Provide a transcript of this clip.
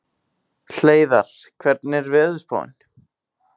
Hleiðar, hvernig er veðurspáin?